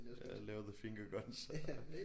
Ja lave the finger guns og